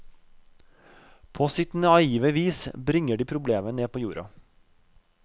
På sitt naive vis bringer de problemet ned på jorda.